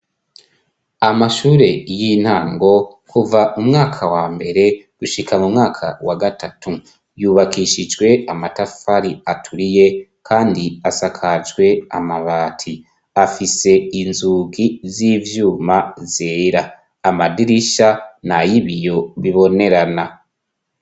Amashure y'intango kuva mu mwaka wa mbere gushikan mu mwaka wa gatatu. Yubakishijwe amatafari aturiye kandi asakajwe amabati. Afise inzugi z'ivyuma zera . Amadirisha nay' ibiyo bibonerana.